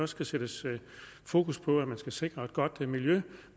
skal sættes fokus på at man skal sikre et godt miljø